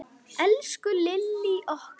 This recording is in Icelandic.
Elsku Lillý okkar.